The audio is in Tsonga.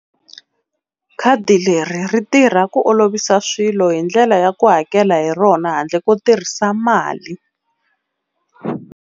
Khadi leri ri tirha ku olovisa swilo hi ndlela ya ku hakela hi rona handle ko tirhisa mali.